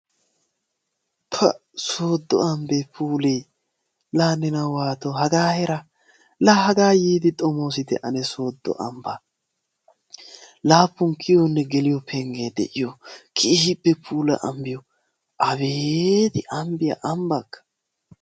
Pa! sooddo ambbee puulee la waatoo hagaa heeraa la hagaa yiidi xomoosite ane sooddo ambbaa laappun geliyonne kiyiyo penggee de'iyo keehippe puula. ambbiyo abeeti! ambbiya ambbakka.